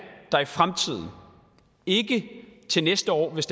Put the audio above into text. der i fremtiden ikke til næste år hvis